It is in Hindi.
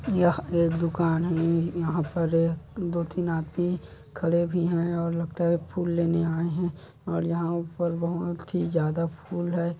यहा एक दुकान है यहां पर एक दो-तीन आदमी खड़े भी है और लगता है फूल लेने आए है और यंहा पर बोहोत ही ज्यादा फूल है।